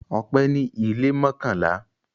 Ọpẹ́ ní ilé mọ́kànlá.